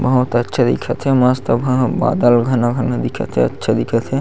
बहुत अच्छा दिखत हे मस्त बादल घना घना दिखत हे अच्छा दिखत हे।